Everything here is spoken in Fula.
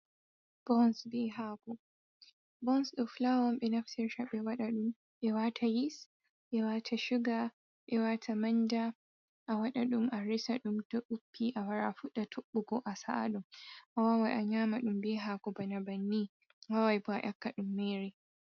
Bons be hako, bons ɗo fulawa un be naftirta be wada dum be wata yis be wata shuga be wata manda a wada dum a resa dum do uppi a wara fuda tobbuko a sa’adum a wawai a nyama dum be hako bana banni wawai bo a ƴakka dum meri.